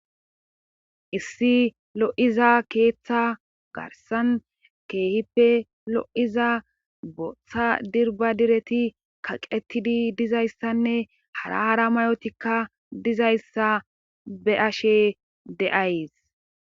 issi lo7iza keeththa garsan keehippe lo7iza bootha dirba direti kaqetidi dizayssanne hara hara mayotikka dizayssa be ashe deays